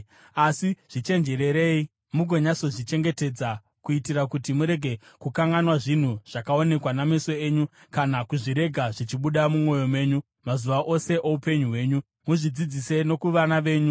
Asi zvichenjererei, mugonyatsozvichengetedza kuitira kuti murege kukanganwa zvinhu zvakaonekwa nameso enyu kana kuzvirega zvichibuda mumwoyo menyu mazuva ose oupenyu hwenyu. Muzvidzidzise nokuvana venyu.